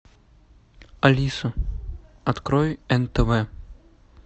алиса открой нтв